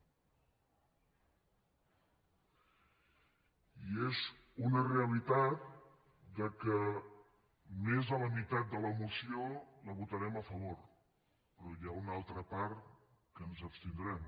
i és una realitat que més de la meitat de la moció la votarem a favor però hi ha una altra part que ens abstindrem